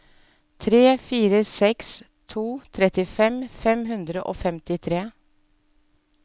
tre fire seks to trettifem fem hundre og femtitre